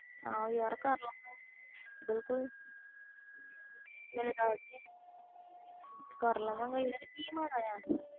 ਹਾਂ ਯਾਰ ਕਰ ਲਾ ਗੇ ਬਿਲਕੁਲ ਕਿ ਮਾੜਾ ਆ